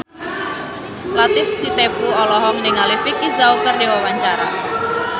Latief Sitepu olohok ningali Vicki Zao keur diwawancara